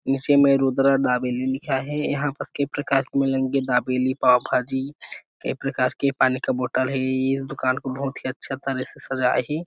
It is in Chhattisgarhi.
नीचे में रूद्रा दाबेली लिखा हे यहाँ पर कई प्रकार के मिलेंगे दाबेली पाव भाजी कई प्रकार के पानी का बोटल हे इस दुकान को बहुत ही अच्छा तरह से सजाए हे।